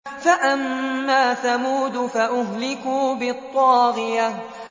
فَأَمَّا ثَمُودُ فَأُهْلِكُوا بِالطَّاغِيَةِ